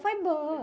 Foi boa.